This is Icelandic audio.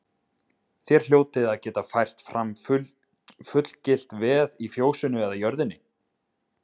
Þér hljótið að geta fært fram fullgilt veð í fjósinu eða jörðinni.